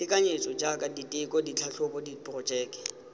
tekanyetso jaaka diteko ditlhatlhobo diporojeke